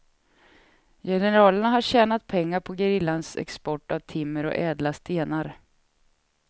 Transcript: Generalerna har tjänat pengar på gerillans export av timmer och ädla stenar.